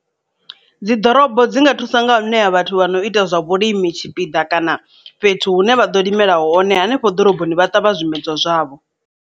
Dzi ḓorobo dzi nga thusa nga ṋea vhathu vha no ita zwa vhulimi tshipiḓa kana fhethu hune vha ḓo limela hone hanefho ḓoroboni vha ṱavha zwimedzwa zwavho.